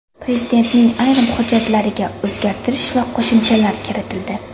Prezidentning ayrim hujjatlariga o‘zgartirish va qo‘shimchalar kiritildi.